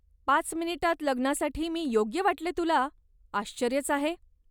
पाच मिनिटात लग्नासाठी मी योग्य वाटले तुला, आश्चर्यच आहे.